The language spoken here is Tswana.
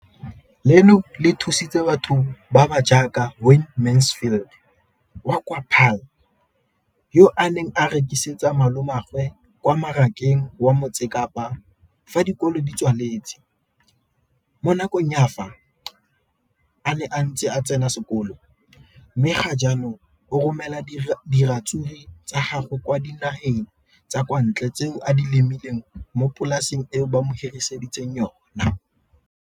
Leno le thusitse batho ba ba jaaka Wayne Mansfield, 33, wa kwa Paarl, yo a neng a rekisetsa malomagwe kwa Marakeng wa Motsekapa fa dikolo di tswaletse, mo nakong ya fa a ne a santse a tsena sekolo, mme ga jaanong o romela diratsuru tsa gagwe kwa dinageng tsa kwa ntle tseo a di lemileng mo polaseng eo ba mo hiriseditseng yona.